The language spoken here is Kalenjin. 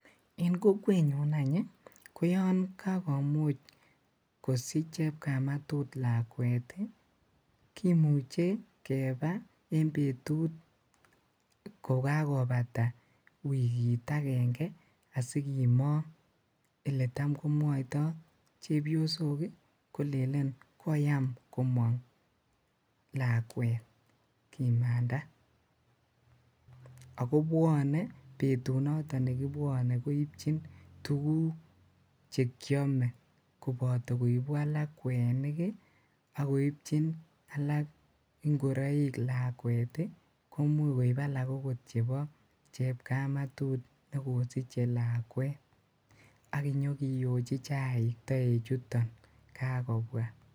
En kokwenyun any ii, ko yoon kakomuch kosich chepkamatut lakwet kimuche kebaa en betut ko kakobata wikit akeng'e asikimong, elee taam komwoitoo chepiosok kolelen koyam komong lakwet kimaanda, ak ko bwonee betut noton nekibwone koibchin tukuk chekiome koboto koibu alak kwenik ak koibchin alak ing'oroik lakwet komuch koib alak akot chebo chepkamatut nekosiche lakwet ak inyokiyochi chaik toechuton kakobwa.